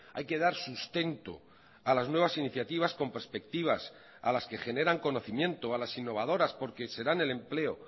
hay que dar sustento a las nuevas iniciativas con perspectivas a las que generan conocimiento a las innovadoras porque serán el empleo